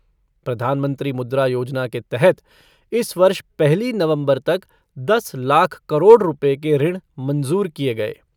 प्रधानमंत्री मुद्रा योजना के तहत इस वर्ष पहली नवम्बर तक दस लाख करोड़ रूपये के ऋण मंजूर किए गये।